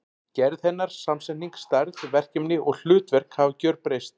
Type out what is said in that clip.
Gerð hennar, samsetning, stærð, verkefni og hlutverk hafa gjörbreyst.